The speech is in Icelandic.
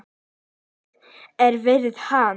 Dóri á að vera hann!